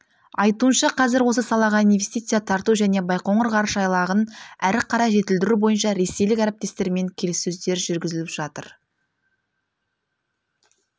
айтуынша қазір осы салаға инвестиция тарту және байқоңыр ғарыш айлағын әрі қарай жетілдіру бойынша ресейлік әріптестермен келіссөздер жүргізіліп жатыр